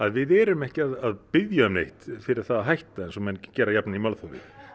við erum ekki að biðja um neitt fyrir það að hætta eins og menn gera jafnan í málþófi